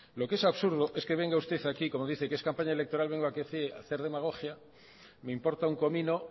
lo que es absurdo es que venga usted aquí como dice que es campaña electoral a hacer demagogia me importa un comino